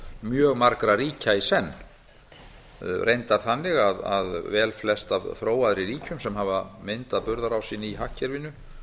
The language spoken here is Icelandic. mjög margra ríkja í senn reyndar þannig að velflest af þróaðri ríkjum sem hafa myndað burðarásinn í hagkerfinu